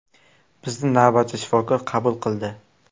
Bizni navbatchi shifokor qabul qildi.